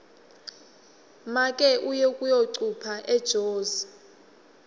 make uye kuyocupha ejozi